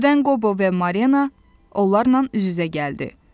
Birdən Qobo və Marlena, onlarla üz-üzə gəldi.